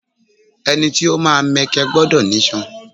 Ẹni tí ó máa mẹkẹ gbọdọ̀ nísàn